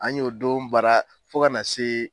An y'o don baara fo ka na se.